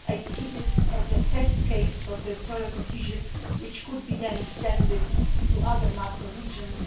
I see this as a test case for territorial cohesion, which could then be extended to other macro regions.